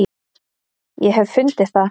ég hef fundið það!